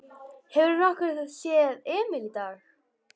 Hefurðu nokkuð séð Emil í dag?